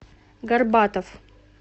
горбатов